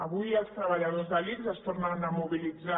avui els treballadors de l’ics es tornen a mobilitzar